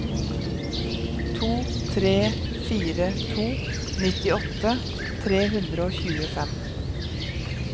to tre fire to nittiåtte tre hundre og tjuefem